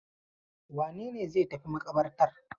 Wane ne zai tafi maƙabartar?